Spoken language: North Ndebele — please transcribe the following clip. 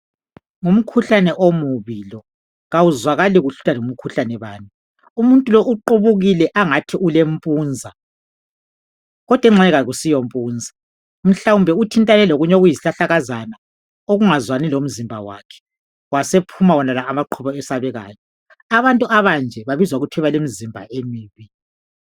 Ngumkhuhlane omubi lo awuzwakali kuhle ukuthi ngumkhuhlane bani umuntu lo uqubukile angathi ule mpunza kodwa engxe akusiyo mpunza mhlawumbe uthintane lokunye okuyisihlahlakazana okungazwani lomzimba wakhe wasephuma wonala amaqhubu ayesabekayo abantu abanje babizwa ngokuthiwa balemizimba emibi.